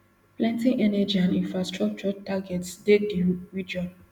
plenty energy and infrastructure targets dey di region